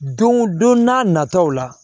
Don o don n'a nataw la